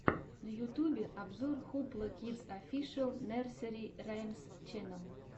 на ютьюбе обзор хупла кидс офишэл нерсери раймс ченнел